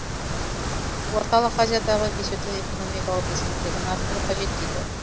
орталық азиядағы бесеудің экономикалық белсенділігін арттыру қажет дейді